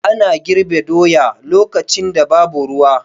Ana girbe doya lokacin da babu ruwa.